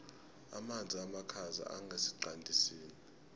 amanzi amakhaza angesiqandisini